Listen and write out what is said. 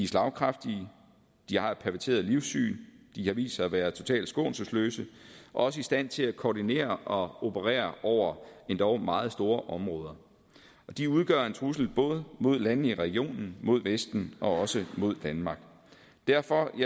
slagkraftige de har et perverteret livssyn de har vist sig at være totalt skånselsløse og også i stand til at koordinere og operere over endog meget store områder de udgør en trussel både mod landene i regionen mod vesten og også mod danmark derfor